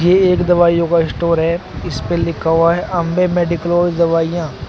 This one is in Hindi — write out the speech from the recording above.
ये एक दवाइयों का स्टोर है इसपे लिखा हुआ है अंबे मेडिकोज दवाइयां।